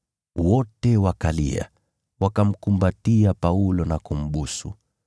Wote wakalia, wakamkumbatia Paulo na kumbusu,